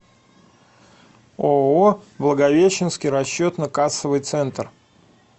ооо благовещенский расчетно кассовый центр